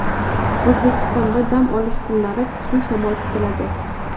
O‘zbekistonda dam olish kunlari kuchli shamol kutiladi.